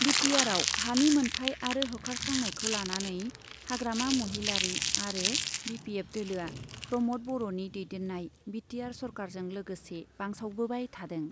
बिटिआरआव हानि मोन्थाय आरो होखारस्रांनायखौ लानानै हाग्रामा महिलारी आरो बिपिएफ दोलोआ प्रमद बर'नि दैदेन्नाय बिटिआर सरकारजों लोगोसे बांसावबोबाय थादों ।